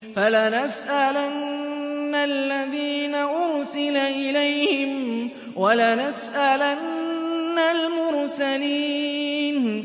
فَلَنَسْأَلَنَّ الَّذِينَ أُرْسِلَ إِلَيْهِمْ وَلَنَسْأَلَنَّ الْمُرْسَلِينَ